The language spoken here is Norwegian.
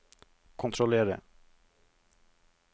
kontrollere